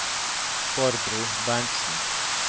Barbro Berntsen